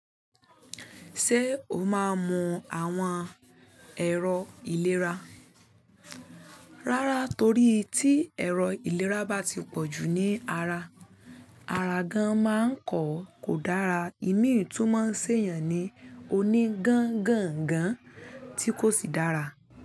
Ṣé o máa mu àwọn ẹ̀rọ ìlera? Rárá torí tí ẹ̀rọ ìlera bá ti pọ̀jù ní ara, ara gan máa ń kọ̀ọ́, kò dára, ìmíì tú máa ń ṣe èèyàn ní oní gan gan gan tí kò sì dára.